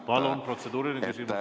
Palun, protseduuriline küsimus!